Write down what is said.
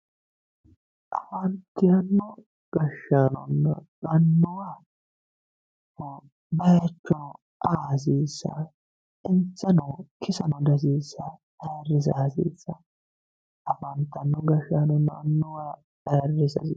afantino gashshaanonna annuwaho bayiicho aa hasiissanno insano kisano dihasiissanno ayiirrisa hasiissanno afantino gashshaanonna annuwa ayiirrisa hasiissaano.